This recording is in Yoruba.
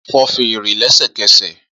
Fọ́ fèrè lẹ́sẹ̀kẹsẹ̀!